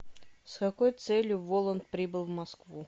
с какой целью воланд прибыл в москву